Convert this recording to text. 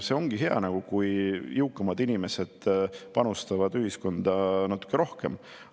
See ongi hea, kui jõukamad inimesed panustavad ühiskonda natuke rohkem.